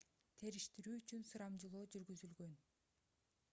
териштирүү үчүн сурамжылоо жүргүзүлгөн